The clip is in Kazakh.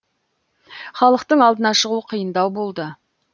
халықтың алдына шығу қиындау болды